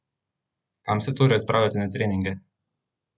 Kam se torej odpravljate na treninge?